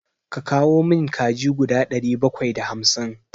Ka kawo min kaji guda ɗari bakwai da hamsin!